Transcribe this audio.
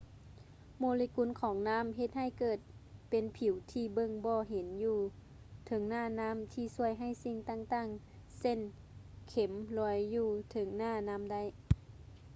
ໂມເລກຸນຂອງນ້ຳເຮັດໃຫ້ເກີດເປັນຜິວທີ່ເບິ່ງບໍ່ເຫັນຢູ່ເທິງໜ້ານ້ຳ ທີ່ຊ່ວຍໃຫ້ສິ່ງຕ່າງໆ ເຊັ່ນ ເຂັມລອຍຢູ່ເທິງໜ້ານ້ຳໄດ້